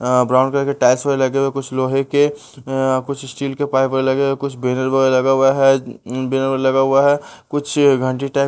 अ brown colour के tiles वगैरह लगे हुए है कुछ लोहे के कुछ स्टील के पाइप वगैरह लगे हुए कुछ बैनर वगैरह लगा हुआ है बैनर वगैरह लगा हुआ है कुछ घंटी टाइप --